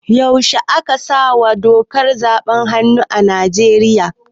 Yaushe aka sawa dokar zaɓe hannu a Nigeria?